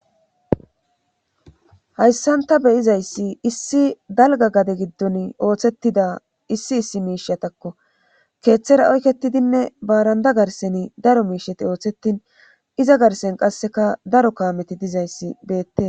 Hayssanta beyizayssi issi dalga gade giddon ooththettida issi issi miishatakko keeththera oykketidinne baaranda garseni daro miisheti ooththetin iza garsen qasseka daro kaameti dizayssi beette.